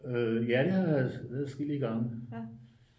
ja det har jeg været adskillige gange